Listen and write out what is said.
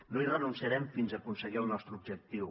no hi renunciarem fins aconseguir el nostre objectiu